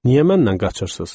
Niyə məndən qaçırsız?